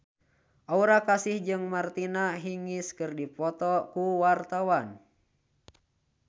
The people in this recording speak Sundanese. Aura Kasih jeung Martina Hingis keur dipoto ku wartawan